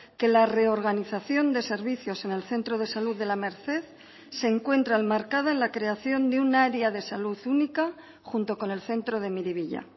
que la reorganización de servicios en el centro de salud de la merced se encuentra enmarcada en la creación de un área de salud única junto con el centro de miribilla